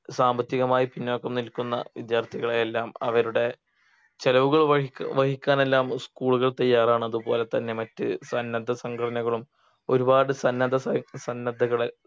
സാമ്പത്തികമായി പിന്നോക്കം നിൽക്കുന്ന വിദ്യാർത്ഥികളെയെല്ലാം അവരുടെ ചെലവുകൾ വഹിക്ക് വഹിക്കാൻ എല്ലാം school കൾ തയ്യാറാണ് അതുപോലെതന്നെ മറ്റ് മറ്റ് സന്നദ്ധ സംഘടനകളും ഒരുപാട് സന്നദ്ധ സ സന്നദ്ധകള്